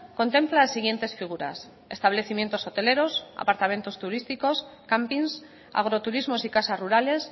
contempla las siguientes figuras establecimientos hoteleros apartamentos turísticos campings agroturismos y casas rurales